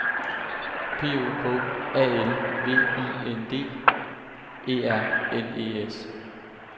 P O K A L V I N D E R N E S